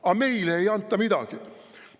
Aga meile ei anta midagi.